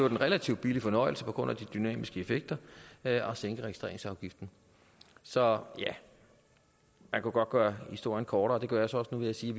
en relativt billig fornøjelse på grund af de dynamiske effekter at at sænke registreringsafgiften så ja man kunne godt gøre historien kortere det gør jeg så også nu ved at sige